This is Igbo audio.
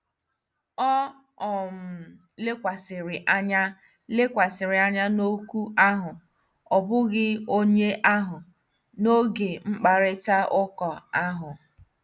O um lekwasịrị anya lekwasịrị anya n'okwu ahụ, ọ bụghị onye ahụ, n'oge mkparịta ụka ahụ.